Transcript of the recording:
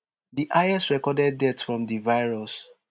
di highest recorded death from di virus